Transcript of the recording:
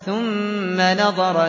ثُمَّ نَظَرَ